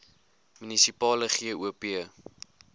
munisipale gop